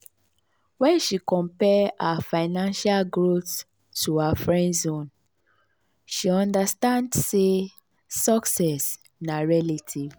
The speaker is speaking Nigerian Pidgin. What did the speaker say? wen she compare her financial growth to her friends own she understand sey success na relative.